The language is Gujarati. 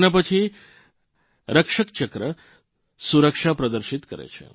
તેના પછી રક્ષકચક્ર સુરક્ષા પ્રદર્શિત કરે છે